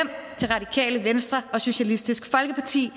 til radikale venstre og socialistisk folkeparti